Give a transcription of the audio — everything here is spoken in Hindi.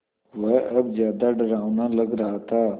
वह अब ज़्यादा डरावना लग रहा था